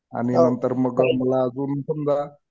आणि नंतर मग मला अजून पण जरा